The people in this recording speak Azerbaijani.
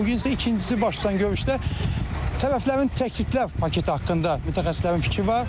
Bu gün isə ikincisi baş tutan görüşdə tərəflərin təkliflər paketi haqqında mütəxəssislərin fikri var.